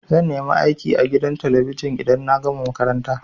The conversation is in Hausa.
Zan nemi aiki a gidan talabijin idan na gama makaranta.